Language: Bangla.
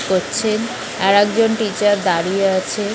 পোচ্ছেন আর একজন টিচার দাঁড়িয়ে আছে